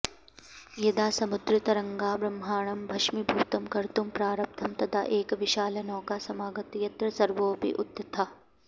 यदा समुद्रतरङ्गाः ब्रह्माण्डं भष्मीभूतं कर्तुं प्रारब्धं तदा एका विशालनौका समागता यत्र सर्वेऽपि उत्थिताः